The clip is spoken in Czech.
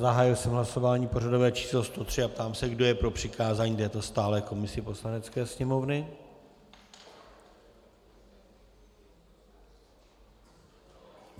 Zahájil jsem hlasování pořadové číslo 103 a ptám se, kdo je pro přikázání této stálé komisi Poslanecké sněmovny.